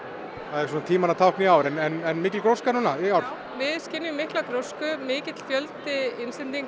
það er svona tímanna tákn í ár en er mikil gróska í ár við skynjum mikla grósku mikill fjöldi